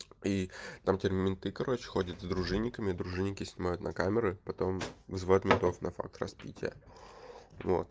и там теперь менты короче ходят с дружинниками дружинники снимают на камеру потом вызывает метров на факт распития вот